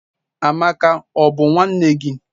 Amaka, o bu nwanne gi?